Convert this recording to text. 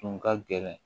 Tun ka gɛlɛn